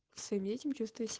детям